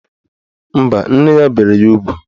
Mba, nne ya bere ya ugwu